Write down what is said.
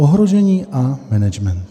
Ohrožení a management.